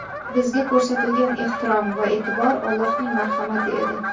Bizga ko‘rsatilgan ehtirom va e’tibor Allohning marhamati edi.